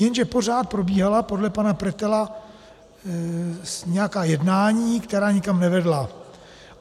Jenže pořád probíhala podle pana Pretela nějaká jednání, která nikam nevedla.